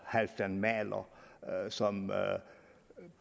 halfdan mahler som